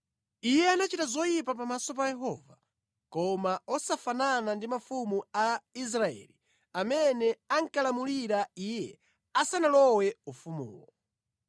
Iye anachita zoyipa pamaso pa Yehova, koma osafanana ndi mafumu a Israeli amene ankalamulira iye asanalowe ufumuwo.